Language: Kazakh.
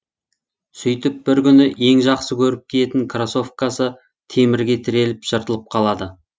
сөйтіп бір күні ең жақсы көріп киетін кроссовкасы темірге тіреліп жыртылып қалады